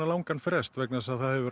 langan frest vegna þess að það hefur